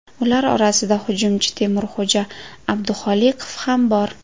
Ular orasida hujumchi Temurxo‘ja Abduxoliqov ham bor.